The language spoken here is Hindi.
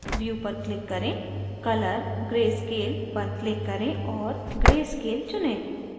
view पर click करें color/grayscale पर click करें और gray scale चुनें